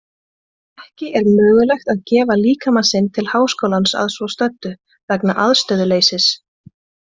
Ekki er mögulegt að gefa líkama sinn til Háskólans að svo stöddu vegna aðstöðuleysis.